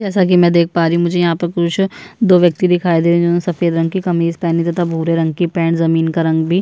जैसा की मे देख पा रही हूँ मुझे यहाँ पर पुरुष दो व्यक्ति दिखाई दे रहे है सफ़ेद रंग की कमीज़ पहनी तथा भूरे रंग की पैंट जमीन का का रंग भी--